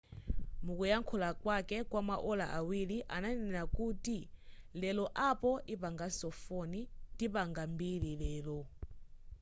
mukuyankhula kwake kwama ola awiri ananena kuti lero apple ipanganso foni tipanga mbiri lero